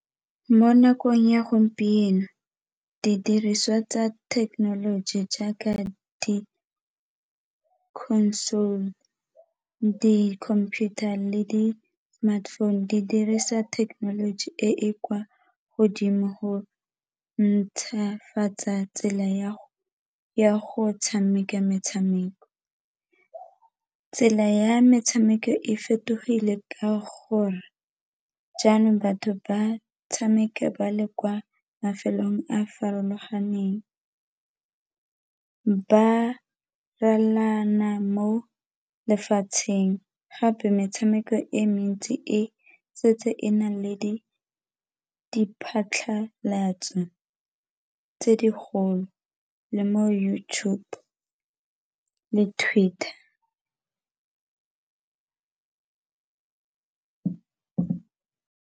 Mo nakong ya gompieno didiriswa tsa thekenoloji jaaka di-console, di-computer le di-smartphone di dirisa technology e e kwa godimo go ntšhwafatsa tsela ya go tshameka metshameko, tsela ya metshameko e fetogile ka gore jaanong batho ba tshameka ba le kwa mafelong a farologaneng. Ba mo lefatsheng gape metshameko e mentsi e setse e nang le di phatlhalatso tse di golo le mo YouTube le mo Twitter.